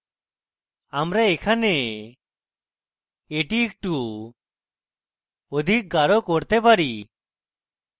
আমরা এখানে এটি একটু অধিক গাঢ় করতে পারি